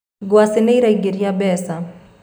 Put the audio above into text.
ngwaci nĩiraingĩria mbeca